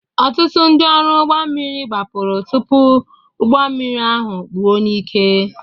Ọtụtụ ndị ọrụ ụgbọ mmiri gbapụrụ tupu ụgbọ mmiri ahụ kpuo n'ike